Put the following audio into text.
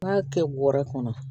N'i y'a kɛ bɔrɛ kɔnɔ